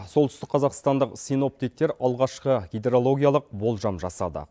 солтүстік қазақстандық синоптиктер алғашқы гидрологиялық болжам жасады